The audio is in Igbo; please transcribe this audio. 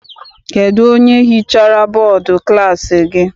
Kedụ onye hichara bọdu klassi gị?